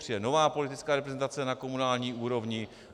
Přijde nová politická reprezentace na komunální úrovni.